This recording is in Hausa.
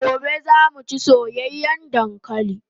Gobe zamu chi soyayan dankalin